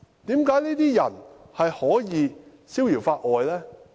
為何這些人可以逍遙法外呢？